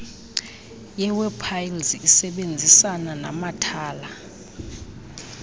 yewebpals isebenzisana namathala